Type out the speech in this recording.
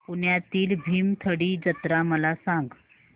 पुण्यातील भीमथडी जत्रा मला सांग